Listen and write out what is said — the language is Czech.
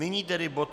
Nyní tedy bod